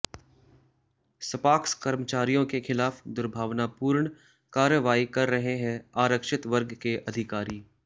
सपाक्स कर्मचारियों के खिलाफ दुर्भावनापूर्ण कार्रवाई कर रहे हैं आरक्षित वर्ग के अधिकारी